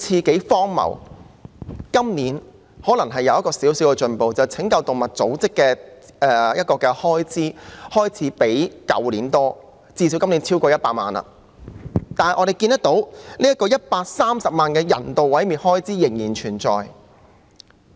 今年可能有少許進步，因為拯救動物組織的開支開始較去年多，最低限度今年超過100萬元，但我們看到130萬元的人道毀滅開支仍然存在。